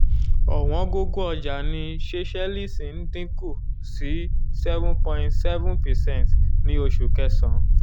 ọ̀wọ́gógó ọjà ní seychelles ń dín kù sí seven point seven percent ní oṣù kẹsàn-án